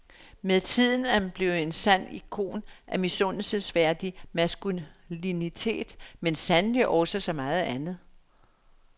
Med tiden er han blevet en sand ikon af misundelsesværdig maskulinitet, men sandelig også så meget andet.